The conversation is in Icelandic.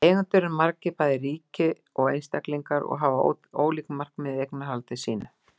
Eigendur eru margir, bæði ríki og einstaklingar, og hafa ólík markmið með eignarhaldi sínu.